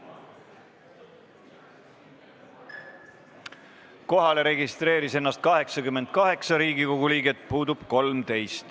Kohaloleku kontroll Kohalolijaks registreeris ennast 88 Riigikogu liiget, puudub 13.